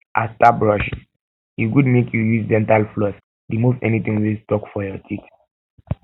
after brushing e good make you use dental floss remove anything wey stuck for your teeth